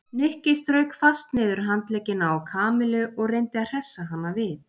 Nikki strauk fast niður handleggina á Kamillu og reyndi að hressa hana við.